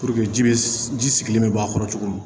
ji bɛ ji sigilen bɛ bɔ a kɔrɔ cogo min na